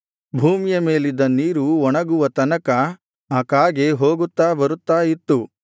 ಭೂಮಿಯ ಮೇಲಿದ್ದ ನೀರು ಒಣಗುವ ತನಕ ಆ ಕಾಗೆ ಹೋಗುತ್ತಾ ಬರುತ್ತಾ ಇತ್ತು